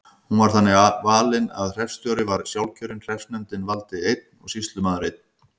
Hún var þannig valin að hreppstjóri var sjálfkjörinn, hreppsnefndin valdi einn og sýslumaður einn.